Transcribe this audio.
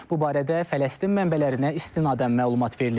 Bu barədə Fələstin mənbələrinə istinadən məlumat verilib.